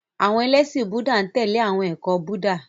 Àwọn ẹlẹ́ṣin Búúdà n tẹle awọn ẹkọ Buddha.